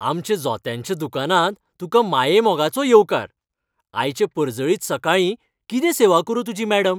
आमच्या जोत्यांच्या दुकानांत तुका मायेमोगाचो येवकार. आयचे परजळीत सकाळीं कितें सेवा करूं तुजी, मॅडम?